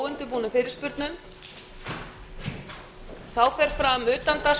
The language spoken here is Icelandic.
klukkan ellefu fer fram umræða utan